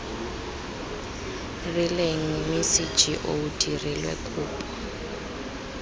rileng mme cgo dirilwe kopo